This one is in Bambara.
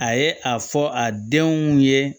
A ye a fɔ a denw ye